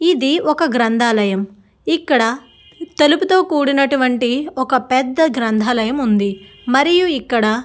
ఇది ఒక గ్రంధాలయం ఇక్కడ తలుపు తో కూడినటువంటి ఒక పెద్ద గ్రంధాలయం ఉంది. మరియు ఇక్కడ --